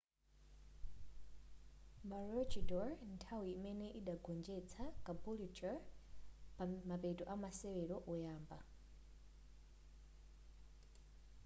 maroochydore nthawi imeneyo adagonjetsa caboolture pamapeto amasewero oyamba